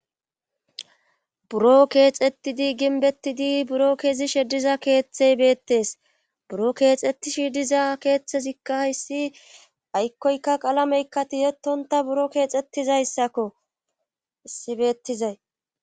buro keexettidi ginbettidi buro kezishi diza keeththey beettes buro keexettishi diza keeththezikka hissi aykkoyka qalameykkatiyetonta buro keexettizayssakko heyissi beettizay